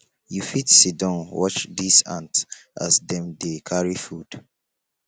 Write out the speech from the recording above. you fit siddon watch dese ants as dem dey carry food